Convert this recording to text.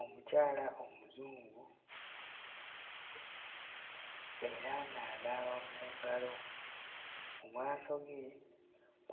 Omukyala Omuzungu era ng'anaaba mu ngalo. Mu maaso ge